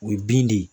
O ye bin de ye